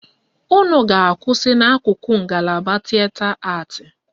Unu ga-akwụsị n' akụkụ ngalaba tịeta atị.